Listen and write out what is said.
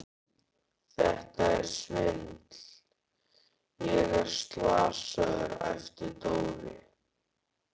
Þetta er svindl, ég er slasaður! æpti Dóri.